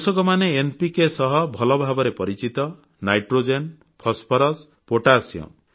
କୃଷକମାନେ ଏନପିକେ ସହ ଭଲଭାବରେ ପରିଚିତ ନାଇଟ୍ରୋଜେନ୍ ଫସଫରସ୍ ପୋଟାସିୟମ୍